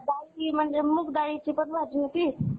काय नाय बघ निवांत. अन् तुझं काय चाललंय?